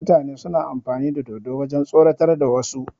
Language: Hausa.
Mutane suna amfani da dodo wajen tsoratar da wasu